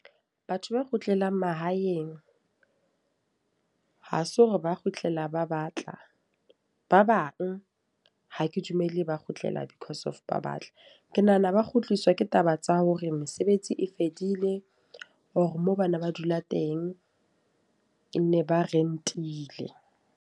Batho ba kgutlela mahaeng ha se hore ba kgutlela ba batla. Ba bang, ha ke dumele ba kgutlela because of ba batla. Ke nahana ba kgutliswa ke taba tsa hore mesebetsi e fedile. Or moo bana ba dula teng, ke nne ba rent-ile.